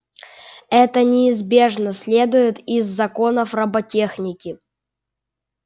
это неизбежно следует из законов роботехники